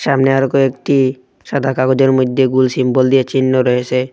সামনে আরো কয়েকটি সাদা কাগজের মইধ্যে গুল সিম্বল দিয়ে চিহ্ন রয়েসে।